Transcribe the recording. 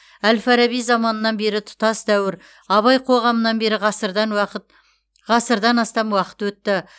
әл фараби заманынан бері тұтас дәуір абай қоғамынан бері ғасырдан уақыт ғасырдан астам уақыт өтті